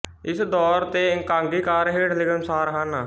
ਇਸ ਦੌਰ ਦੇ ਇਕਾਂਗੀਕਾਰ ਹੇਠ ਲਿਖੇ ਅਨੁਸਾਰ ਹਨ